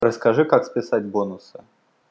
расскажи как списать бонусы